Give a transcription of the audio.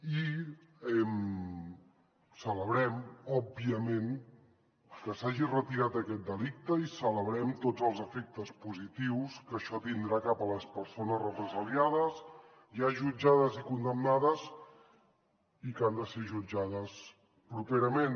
i celebrem òbviament que s’hagi retirat aquest delicte i celebrem tots els efectes positius que això tindrà cap a les persones represaliades ja jutjades i condemnades i que han de ser jutjades properament